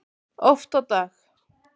Oft á dag.